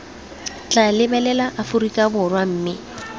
tla lebelela aforika borwa mme